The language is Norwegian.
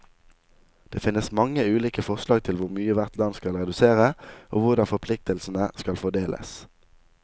Det finnes mange ulike forslag til hvor mye hvert land skal redusere, og hvordan forpliktelsene skal fordeles.